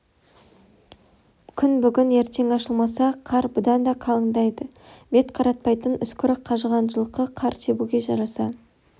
күн бүгін ертең ашылмаса қар бұдан да қалыңдайды бет қаратпайтын үскірік қажыған жылқы қар тебуге жараса